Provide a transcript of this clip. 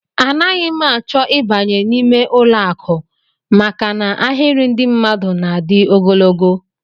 Anaghị m achọ ịbanye n'ime ụlọakụ maka na ahịrị ndị mmadụ na-adị ogologo